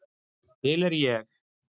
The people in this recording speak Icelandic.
Til er ég.